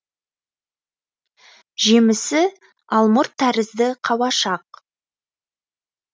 жемісі алмұрт тәрізді қауашақ